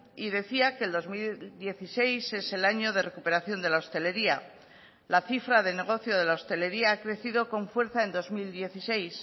y decía que el dos mil dieciséis es el año de recuperación de la hostelería la cifra del negocio de la hostelería ha crecido con fuerza en dos mil dieciséis